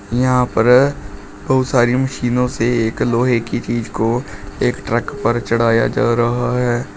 यहां पर बहोत सारी मशीनों से एक लोहे की चीज को एक ट्रक पर चढ़ाया जा रहा है।